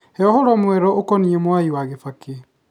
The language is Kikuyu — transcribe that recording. He ũhoro mwerũ ũkoniĩ mwai wa kibaki